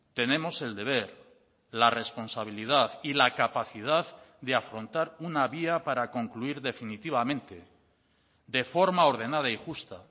tenemos el deber la responsabilidad y la capacidad de afrontar una vía para concluir definitivamente de forma ordenada y justa